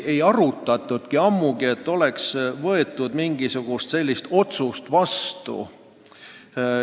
Ammugi ei võtnud me mingisugust sellesisulist otsust vastu.